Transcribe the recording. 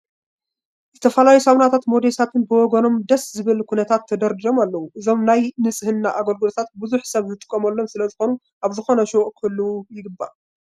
ዝተፈላለዩ ሳሙናታትን ሞዴሳትን በብወገኖም ደስ ብዝብል ኩነታት ተደርዲሮም ኣለዉ፡፡ እዞም ናይ ንፅሕና መገልገልታት ብዙሕ ሰብ ዝጥቀመሎም ስለዝኾኑ ኣብ ዝኾነ ሹቕ ክህልዉ ይግባእ፡፡